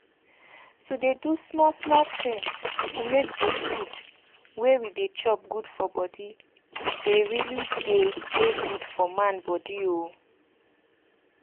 to dey do small small tin to make de food we dey chop good for body dey really dey dey good for man body o